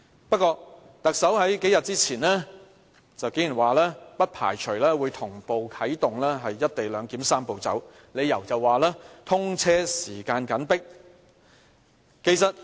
不過，特首數天前竟然說，不排除會同步啟動"一地兩檢""三步走"，理由是通車時間緊迫。